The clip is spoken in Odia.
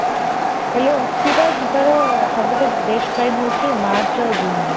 ହେଲେ ଊଟି ଟା ଯିବାର ସବୁଠୁ best time ହଉଛି ମାର୍ଚ୍ଚ ଆଉ ଜୁନ୍ ରେ।